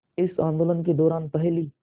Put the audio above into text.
इस आंदोलन के दौरान पहली